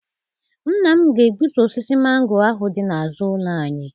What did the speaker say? Nna m ga-egbutu osisi mango ahụ dị n'azụ ụlọ anyị.